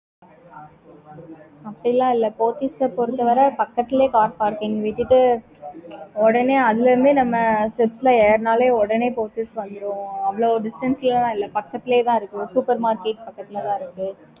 அப்பிடில்லாம் இல்ல Pothys பொறுத்த வர பக்கத்துலயே car parking விட்டுட்டு ஒடனே அதுல இருந்தே நம்ம steps ஏறுனாலே ஒடனே Pothys வந்துடும்